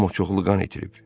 amma çoxlu qan itirib.